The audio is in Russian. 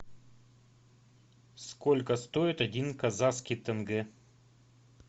сколько стоит один казахский тенге